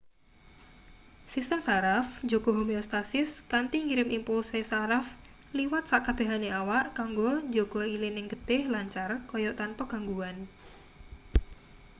sistem saraf njaga homeostatis kanthi ngirim impulse saraf liwat sakabehane awak kanggo njaga ilining getih lancar kaya tanpa gangguan